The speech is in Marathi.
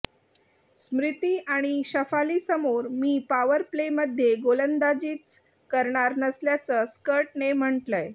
स्मृती आणि शफालीसमोर मी पॉवरप्लेमध्ये गोलंदाजीच करणार नसल्याचं स्कटने म्हटलंय